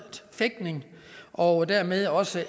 fægtning og dermed også